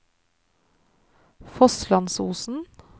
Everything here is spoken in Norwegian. Fosslandsosen